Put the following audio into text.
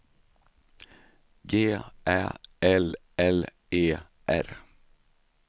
G Ä L L E R